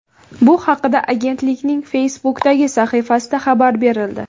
Bu haqda agentlikning Facebook’dagi sahifasida xabar berildi .